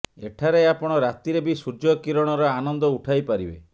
ଏଠାରେ ଆପଣ ରାତିରେ ବି ସୂର୍ଯ୍ୟ କିରଣର ଆନନ୍ଦ ଉଠାଇ ପାରିବେ